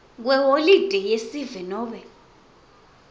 kweholide yesive nobe